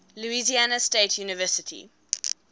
louisiana state university